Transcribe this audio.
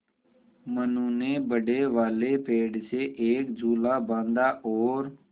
मनु ने बड़े वाले पेड़ से एक झूला बाँधा है और